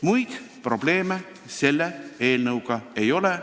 Muid probleeme selle eelnõuga ei ole.